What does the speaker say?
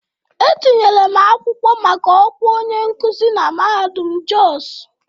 Etinyere m akwụkwọ maka ọkwa onye nkuzi na mahadum Jos